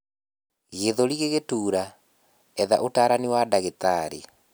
gĩthũri gigitura, etha utarani wa ndagĩtarĩ